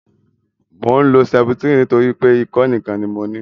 Mò ń lo sẹputirini nítorí pé ikọ́ nìkan ni mo ní